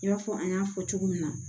I b'a fɔ an y'a fɔ cogo min na